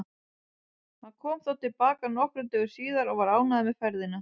Hann kom þó til baka nokkrum dögum síðar og var ánægður með ferðina.